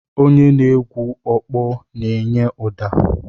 Onye na-egwu ọkpọ na-enye ụda.